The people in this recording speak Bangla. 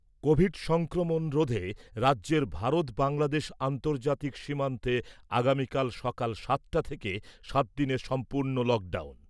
কোভিড সংক্রমণ রোধে রাজ্যের ভারত বাংলাদেশ আন্তর্জাতিক সীমান্তে আগামীকাল সকাল সাতটা থেকে সাতদিনের সম্পূর্ণ লকডাউন ।